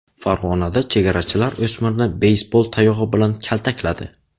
Farg‘onada chegarachilar o‘smirni beysbol tayog‘i bilan kaltakladi .